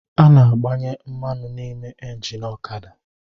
A na-agbanye mmanụ n’ime engini ọkada